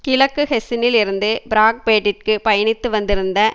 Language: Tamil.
கிழக்கு ஹெசினில் இருந்து பிராங்பேர்ட்டிற்கு பயணித்து வந்திருந்த